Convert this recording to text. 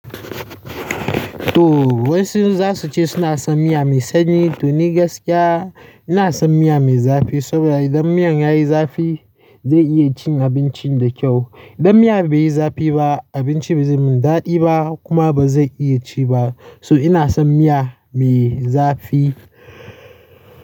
To wasu zasu ce suna son miya mai sanyi to ni gaskiya ina son miya mai zafi saboda idan miyan yayi zafi, zai iya cin abincin da kyau. Idan miya bai yi zafi ba, abinci ba zai mun dadi ba kuma ba zai iya ci ba. So ina son miya mai zafi.